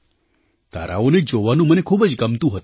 તારાઓને જોવાનું મને ખૂબ જ ગમતું હતું